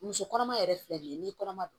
Muso kɔnɔma yɛrɛ filɛ nin ye n'i kɔnɔma don